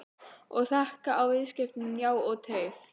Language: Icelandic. Og þakka viðskiptin, já og teið.